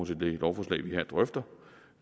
til det lovforslag vi her drøfter